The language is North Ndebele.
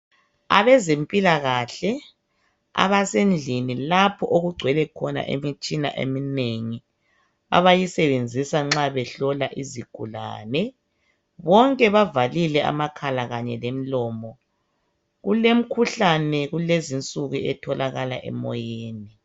abazempilakahle abasendlini lapho okugcwele khona imitshina eminengi abayisebenzisa nxa behlola izigulane bonke bavalile amakhala kanye lemilomo ,kulemkhuhlane lezi insuku etholakala emoyeni